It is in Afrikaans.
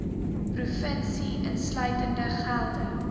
provinsie insluitende gelde